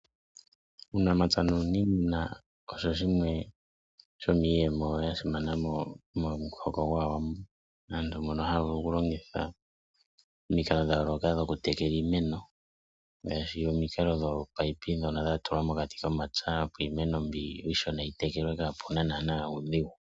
Uunamapya nuuniimuna osho shimwe sho miiyemo ya simana momuhoko gwAawambo. Aantu mono haya vulu oku longitha omikalo dha yooloka dhoku tekela iimeno. Ngaashi omikalo dhoopayipi dhono dha tulwa mokati komapya opo iimeno mbi iishona yi tekelwe kaapuna naana uudhigu.